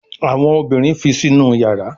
Àwọn obìrin fi Sínú iyàrá.